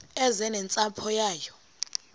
eze nentsapho yayo